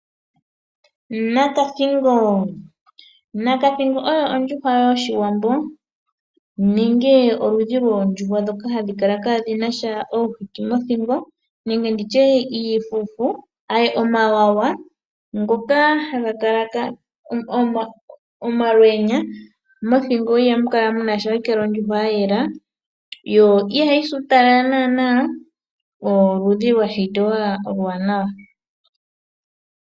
Nakathingo, nakathingo oyo ondjuhwa yOshiwambo nenge oludhi loondjuhwa dhoka ihadhi kala kadhi nasha omafufu mothingo nenge nditye iifufu, mothingo ihamu kala omalwenya ohayi kala ondjuhwa ya yela yo ihayi si uutalala nana ano oludhi lwashitwa olu wanawa.